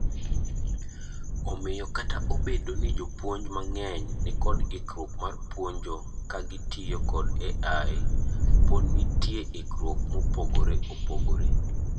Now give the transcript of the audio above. Omiyo kata obedo ni jopuonj mang'eny nikod ikruok mar puonjo kagitiyo kod AI, pod nitiek ikruok mopogre opogre.